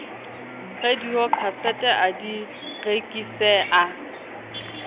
radiokhasete a di rekise a